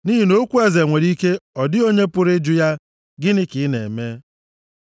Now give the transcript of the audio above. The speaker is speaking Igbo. Nʼihi na okwu eze nwere ike ọ dịghị onye pụrụ ịjụ ya, Gịnị ka ị na-eme?